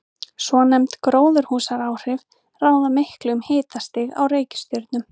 Svonefnd gróðurhúsaáhrif ráða miklu um hitastig á reikistjörnunum.